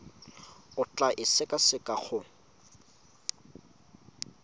o tla e sekaseka go